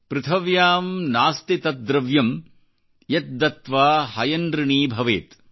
ಪೃಥವ್ಯಾಂ ನಾಸ್ತಿ ತತ್ ದ್ರವ್ಯಂ ಯತ್ ದತ್ವಾ ಹಯನೃಣೀ ಭವೇತ್